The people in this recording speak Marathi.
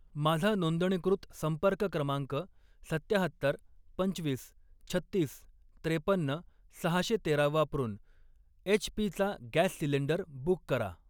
माझा नोंदणीकृत संपर्क क्रमांक सत्त्याहत्तर, पंचवीस, छत्तीस, त्रेपन्न, सहाशे तेरा वापरून एच.पी. चा गॅस सिलेंडर बुक करा.